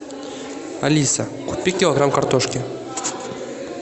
алиса купи килограмм картошки